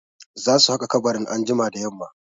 Za su haƙa kabarin anjima da yamma.